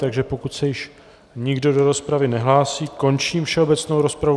Takže pokud se již nikdo do rozpravy nehlásí, končím všeobecnou rozpravu.